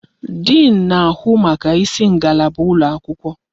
Diin na-ahụ maka isi ngalaba ụlọ akwụkwọ.